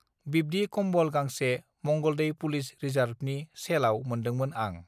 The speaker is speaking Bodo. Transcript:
बिब्दि कम्बल गांसे मंगलदै पुलिस रिजार्भनि सेलआव मोनदोंमोन आं